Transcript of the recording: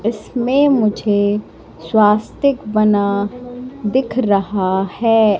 इसमें मुझे श्वास्तिक बना दिख रहा है।